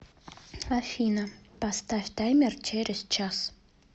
афина поставь таймер через час